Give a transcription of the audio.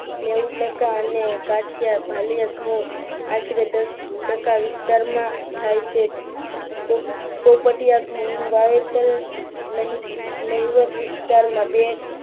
નેવુ ટકા અને અને કાઠીયા ભાલીયા ઘઉં આશરે દસટકા વિસ્તારમાં થાય છે. પોપટિયા ઘઉંનો વાવેતર નહિવત વિસ્તારમાં બે